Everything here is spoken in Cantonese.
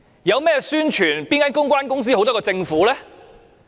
說到宣傳，哪間公關公司好得過政府？